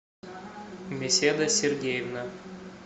беседа сергеевна